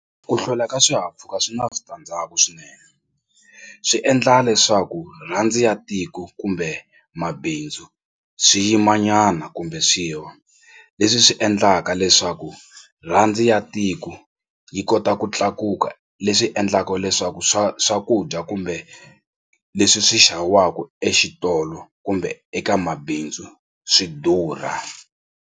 Ku hlwela ka swihahampfhuka swi na switandzhaku swinene swi endla leswaku rhandi ya tiko kumbe mabindzu swi yimanyana kumbe swi wa leswi swi endlaka leswaku rhandi ya tiko yi kota ku tlakuka leswi endlaka leswaku swa swakudya kumbe leswi swi xaviwaka exitolo kumbe eka mabindzu swi durha.